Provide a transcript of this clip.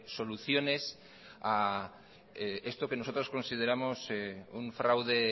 soluciones a esto que nosotros consideramos un fraude